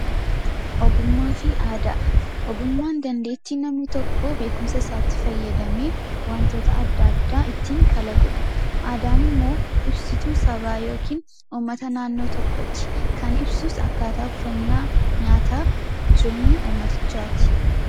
Ogummaa fi Aadaa: Ogummaan dandeettii namni tokko beekumsa isaatti fayyadamee wanytoota adda addaa ittiin kalaqudha. Aadaan immoo ibsituu sabaa yookiin uummata naannoo tokkooti. Kan ibsus akkaataa uffannaa, nyaataa fi jireenya uummatichaati.